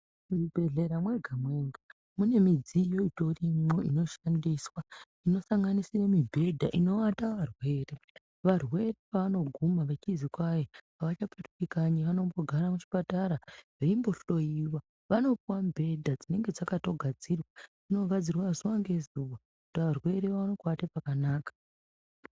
Muzvibhedhlera mwega mwega mune midziyo itorimwo inoshandiswa inosanganisire mibhedha inovata. Varwere varwere pavanoguma vechizi kwai avachapetuki kanyi vanombogara muchipatara veimbohloyiwa vanopuwa mubhedha dzinenge dzakatogadzirwa, dzinogadzirwa zuwa ngezuwa kuti arwere aone kuate pakanaka.